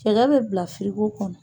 Cɛkɛ bɛ bila firiko kɔnɔ.